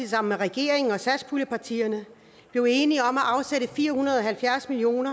sammen med regeringen og satspuljepartierne blev enige om at afsætte fire hundrede og halvfjerds million